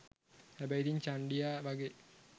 හැබැයි ඉතින් චන්ඩියා වගේ